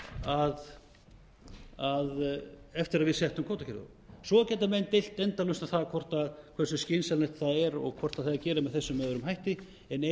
að eftir að við settum kvótakerfið á svo geta menn deilt endalaust um það hversu skynsamlegt það er og hvort það eigi að gera með þessum eða öðrum hætti en